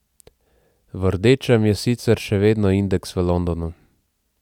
V rdečem je sicer še vedno indeks v Londonu.